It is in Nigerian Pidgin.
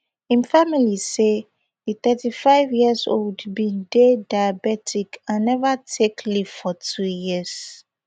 im family say di thirty-fiveyearold bin dey diabetic and neva take leave for two years